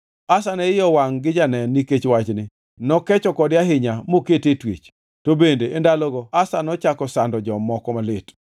Asa ne iye owangʼ gi janen nikech wachni, nokecho kode ahinya mokete e twech. To bende e ndalogo Asa nochako sando jomoko malit.